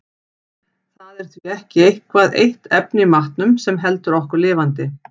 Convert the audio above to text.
Það er því ekki eitthvað eitt efni í matnum sem heldur okkur lifandi.